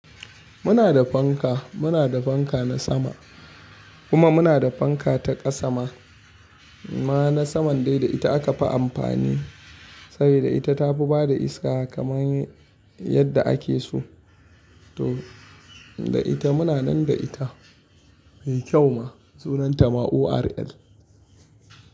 Muna da fanka, muna da fanka na sama kuma muna da fanka ta ƙasa ma na saman dai da ita aka fi amfani sabida ita ta fi bada iska kaman yadda ake so. To da ita muna nan da ita mai kyau ma sunanta ORL.